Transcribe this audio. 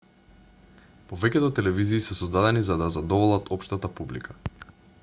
повеќето телевизии се создадени за да ја задоволат општата публика